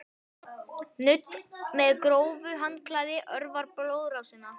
Nudd með grófu handklæði örvar blóðrásina.